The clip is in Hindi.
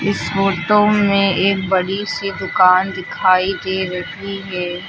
इस फोटो में एक बड़ी सी दुकान दिखाई दे रही है।